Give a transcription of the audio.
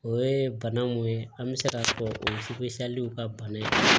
O ye bana mun ye an bɛ se k'a fɔ o ye ka bana ye